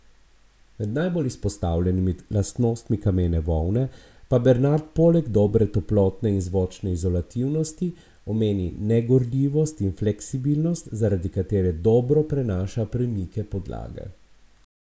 Med najbolj izpostavljenimi lastnostmi kamene volne pa Bernard poleg dobre toplotne in zvočne izolativnosti omeni negorljivost in fleksibilnost, zaradi katere dobro prenaša premike podlage.